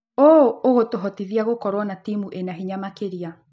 ũũ ũgũtũhotithia gũkorwo na timu ĩna hinya makĩria.